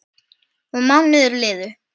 Og mánuðir liðu.